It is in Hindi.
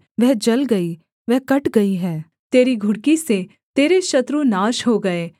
वह जल गई वह कट गई है तेरी घुड़की से तेरे शत्रु नाश हो जाए